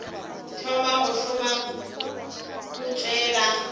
thoma go šoma o tšwela